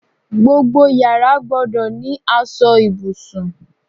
Gbogbo yàrá gbọ́dọ̀ ní aṣọ ibùsùn